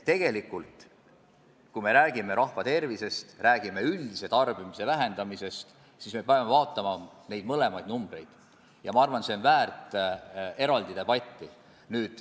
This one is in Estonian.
Nii et kui me räägime rahva tervisest, räägime üldse tarbimise vähendamisest, siis me peame vaatama neid mõlemaid numbreid ja ma arvan, et see on väärt eraldi debatti.